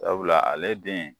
Sabula ale den